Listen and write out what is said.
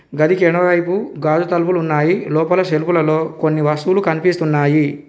గదికి ఎడమవైపు గాజు తలుపులు ఉన్నాయి లోపల షెల్ఫులలో కొన్ని వస్తువులు కనిపిస్తున్నాయి.